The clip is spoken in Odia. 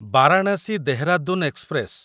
ବାରାଣାସୀ ଦେହରାଦୁନ ଏକ୍ସପ୍ରେସ